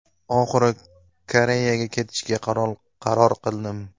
Oxiri Koreyaga ketishga qaror qildim.